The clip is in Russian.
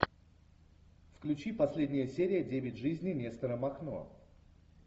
включи последняя серия девять жизней нестора махно